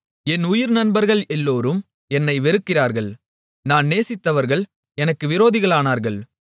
என் உயிர்நண்பர்கள் எல்லோரும் என்னை வெறுக்கிறார்கள் நான் நேசித்தவர்கள் எனக்கு விரோதிகளானார்கள்